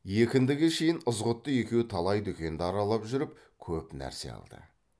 екіндіге шейін ызғұтты екеуі талай дүкенді аралап жүріп көп нәрсе алды